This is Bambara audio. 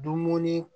Dumuni